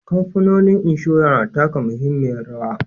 Kamfanonin inshora na taka muhimmiyar rawa.